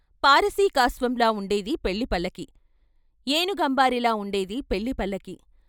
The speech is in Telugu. పారశీకాశ్వంలా వుండేది పెళ్ళి పల్లకీ, ఏనుగంబారీలా వుండేది పెళ్ళి పల్లకీ.